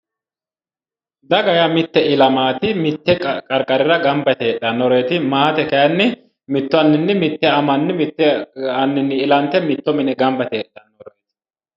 Daganna maate:-daga yaa mitte illamaati mittu qariqarirra ganba yite heedhannoreeti maate kaayinni mittu aninni mitte amanni ilante mitto mine ganba yite heedhannoreeti